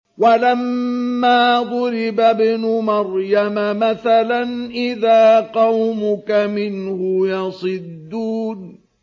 ۞ وَلَمَّا ضُرِبَ ابْنُ مَرْيَمَ مَثَلًا إِذَا قَوْمُكَ مِنْهُ يَصِدُّونَ